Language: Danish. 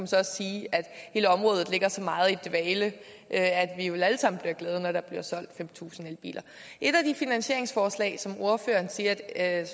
så også sige at hele området ligger så meget i dvale at vi vel alle sammen bliver glade når der bliver solgt fem tusind elbiler et af de finansieringsforslag som ordføreren siger at